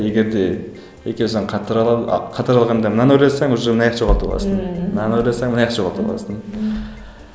егер де екеуісін қатар алғанда мынаны ойласаң уже мынаяқты жоғалтып аласың мынаны ойласаң мынаяқты жоғалтып аласың